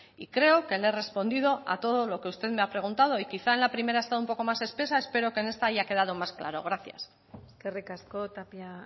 y creo que le he respondido a todo lo que usted me ha preguntado y quizá en la primera he estado un poco más espesa espero que en esta haya quedado un poco más claro gracias eskerrik asko tapia